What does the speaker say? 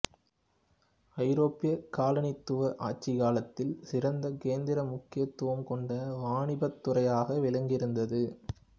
ஐரோப்பிய காலனித்துவ ஆட்சிக் காலத்தில் சிறந்த கேந்திர முக்கியத்துவம் கொண்ட வாணிபத்துறையாக விளங்கியிருந்தது